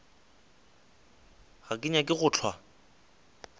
ga ke nyake go hlwa